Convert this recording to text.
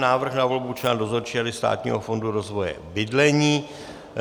Návrh na volbu člena Dozorčí rady Státního fondu rozvoje bydlení